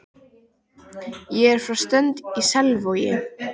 Ég er frá Strönd í Selvogi.